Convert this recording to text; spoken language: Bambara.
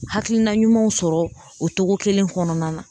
Hakilina ɲumanw sɔrɔ o cogo kelen kɔnɔna na